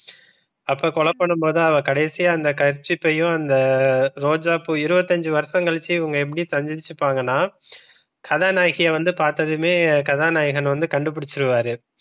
அப்ப கொலை பண்ணும் போது கடைசியா இந்த kerchief யையும் அந்த ரோஜா பூ இருவத்தியஞ்சி வருஷம் கழிச்சி இவங்க எப்படி சந்திச்சிபாங்கன்னா கதாநாயகிய வந்து பார்த்ததுமே கதாநாயகன் வந்து கண்டுபிடிச்சுருவாரு.